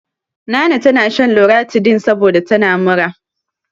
Nana tana shan loratidin saboda tana mura.